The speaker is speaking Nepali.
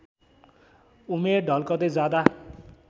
उमेर ढल्कदैं जाँदा